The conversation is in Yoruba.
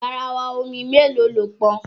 Garawa omi mélòó lo pọn?